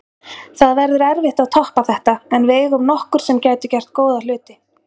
Það verður erfitt að toppa þetta en við eigum nokkur sem gætu gert góða hluti.